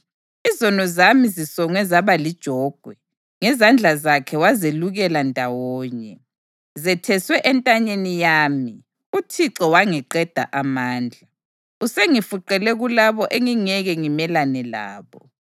Izono zami zisongwe zaba lijogwe; ngezandla zakhe wazelukela ndawonye. Zetheswe entanyeni yami, uThixo wangiqeda amandla. Usengifuqele kulabo engingeke ngimelane labo.